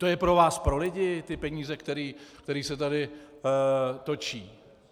To je pro vás, pro lidi, ty peníze, které se tady točí.